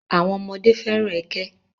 àwọn ọmọdé fẹ́ràn ẹkẹ.